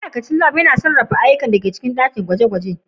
Ma'aikacin Lab yana sarrafa ayyukan da ke cikin ɗakin gwaje-gwaje.